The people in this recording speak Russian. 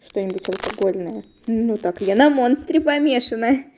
что-нибудь алкогольного ну так я на монстре помешана